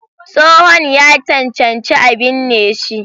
Tsohon ya cancanci a binne shi.